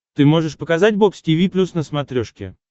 ты можешь показать бокс тиви плюс на смотрешке